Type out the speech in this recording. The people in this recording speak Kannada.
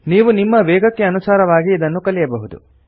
ನೀವು ನಿಮ್ಮ ವೇಗಕ್ಕೆ ಅನುಸಾರವಾಗಿ ಇದನ್ನು ಕಲಿಯಬಹುದು